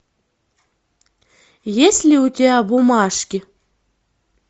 есть ли у тебя бумажки